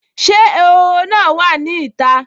Ṣé ehoro náà wà ní ìta?